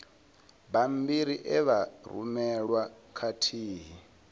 bammbiri e vha rumelwa khathihi